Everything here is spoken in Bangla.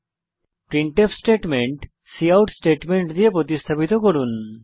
কোপ্রিন্টফ স্টেটমেন্ট কাউট স্টেটমেন্ট দ্বারা প্রতিস্থাপিত করুন